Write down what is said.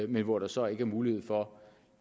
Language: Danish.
men hvor der så ikke er mulighed for